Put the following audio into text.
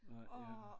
Nej ja